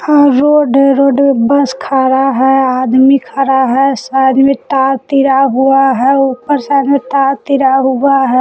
और रोड है road bus खड़ा है आदमी खड़ा है साइड में तार तिरा हुआ है ऊपर साइड में तार तिरा हुआ है।